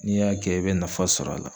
N'i y'a kɛ i bɛ nafa sɔr'a la.